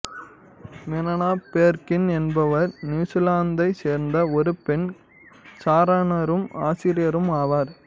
மோனா பேர்கின் என்பவர் நியூசிலாந்தைச் சேர்ந்த ஒரு பெண் சாரணரும் ஆசிரியரும் ஆவார்